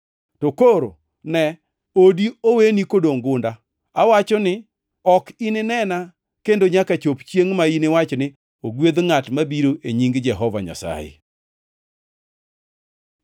To koro, ne odi oweni kodongʼ gunda. Awachoni ni, ok ininena kendo nyaka chop chiengʼ ma iniwach ni, ‘Ogwedh ngʼat mabiro e nying Jehova Nyasaye.’ + 13:35 \+xt Zab 118:26\+xt* ”